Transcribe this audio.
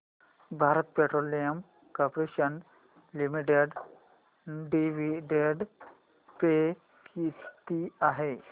Bharat petroleum corporation limited dividend pay किती आहे